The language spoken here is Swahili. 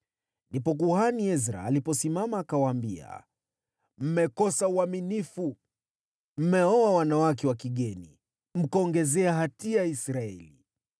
Ndipo Kuhani Ezra aliposimama akawaambia, “Mmekosa uaminifu, mmeoa wanawake wa kigeni, mkaongezea hatia ya Israeli.